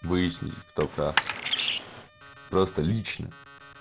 выяснить кто прав просто лично